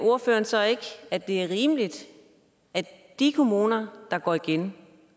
ordføreren så ikke at det er rimeligt at de kommuner der går igen